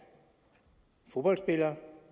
fodboldspiller